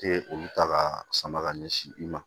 Te olu ta ka sama ka ɲɛsin i ma